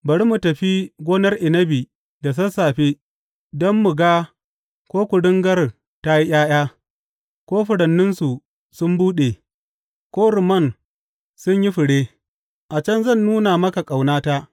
Bari mu tafi gonar inabi da sassafe don mu ga ko kuringar ta yi ’ya’ya, ko furanninsu sun buɗe, ko rumman sun yi fure, a can zan nuna maka ƙaunata.